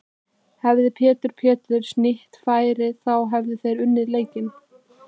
Hefði Pétur Péturs nýtt færin þá hefðuð þið unnið leikinn?